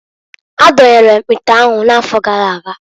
Adonyere m ite anwu n'afọ gara aga.